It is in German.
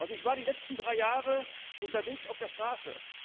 Ich war die letzten drei Jahre unterwegs auf der Straße.